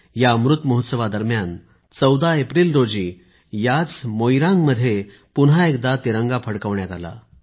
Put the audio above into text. या अमृत महोत्सवादरम्यान 14 एप्रिल रोजी याच मोईरांग मध्ये पुन्हा एकदा तिरंगा फडकवण्यात आला